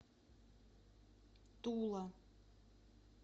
тула